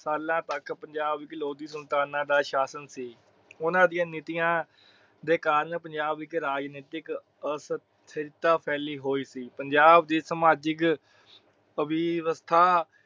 ਸਾਲਾਂ ਤੱਕ ਪੰਜਾਬ ਵਿੱਚ ਲੋਧੀ ਸੁਲਤਾਨਾ ਦਾ ਸਾਸ਼ਨ ਸੀ। ਉਹਨਾਂ ਦੀਆ ਨਿਤਿਆ ਦੇ ਕਾਰਣ ਪੰਜਾਬ ਵਿਖੇ ਰਾਜਨੀਤਿਕ ਆਸਅਸਰਥਾ ਫੈਲੀ ਹੋਈ ਸੀ ਪੰਜਾਬ ਦੀ ਸਮਾਜਿਕ ਅਵਿਵਿਵਸ੍ਥਾ